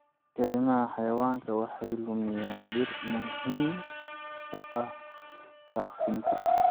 Kaymaha xayawaanka waxay lumiyaan dhir muhiim u ah daaqsinka.